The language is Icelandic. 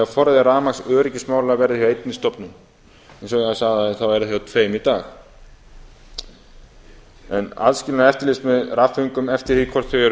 að forræði rafmagnsöryggismála verði hjá einni stofnun eins og ég sagði áðan er það hjá tveimur í dag aðskilnaður eftirlits með rafföngum eftir því hvort þau eru